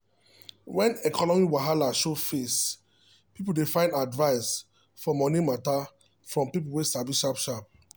when economy wahala show face people dey find advice for money matter from people way sabi sharp sharp